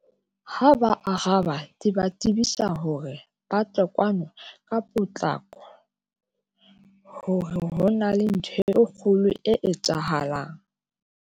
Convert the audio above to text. Ha ba araba, di ba tsebisa hore ba tle kwano ka potlako hore ho na le ntho e kgolo e etsahalang.